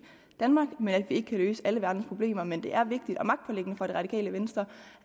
danmark men at vi ikke kan løse alle verdens problemer men det er vigtigt og magtpåliggende for det radikale venstre